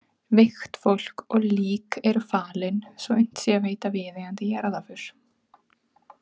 Veikt fólk og lík eru falin svo unnt sé að veita viðeigandi jarðarför.